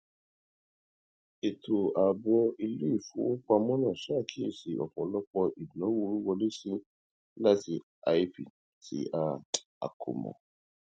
ètò ààbò iléìfowópamọ náà ṣàkíyèsí ọpọlọpọ ìdánwò wíwọlésí láti ip tí a a kò mọ